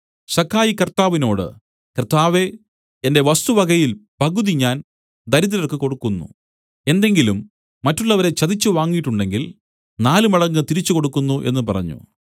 സക്കായി കർത്താവിനോട് കർത്താവേ എന്റെ വസ്തുവകയിൽ പകുതി ഞാൻ ദരിദ്രർക്ക് കൊടുക്കുന്നു എന്തെങ്കിലും മറ്റുള്ളവരെ ചതിച്ച് വാങ്ങിയിട്ടുണ്ടെങ്കിൽ നാലുമടങ്ങ് തിരിച്ചുക്കൊടുക്കുന്നു എന്നു പറഞ്ഞു